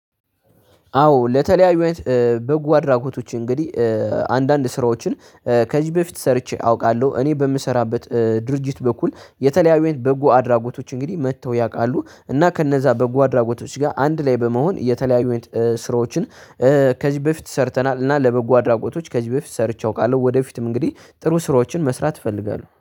አዎ ለተለያዩ በጎ አድራጎቶች እንግዲህ አንዳንድ ስራዎችን ከዚህ በፊት ሰርቼ አውቃለሁ። እኔ በምሰራበት ድርጅት በኩል የተለያዩ አይነት በጎ አድራጎቶች እንግዲህ መጥተው ያውቃሉ። እና ከነዛ በጎ አድራጎቶች ጋር አንድ ላይ በመሆን የተለያዩ ስራዎችን ከዚህ በፊት ሰርተናል እና ለበጎ አድራጎቶች ከዚህ በፊት ሰርቼ አውቃለሁ። ወደፊትም እንግዲህ ጥሩ ስራዎችን መስራት እፈልጋለሁ